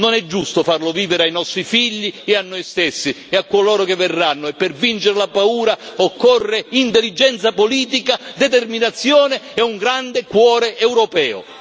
Non è giusto farlo vivere ai nostri figli e a noi stessi e a coloro che verranno e per vincere la paura occorre intelligenza politica, determinazione e un grande cuore europeo.